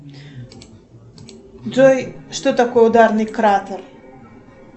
джой что такое ударный кратер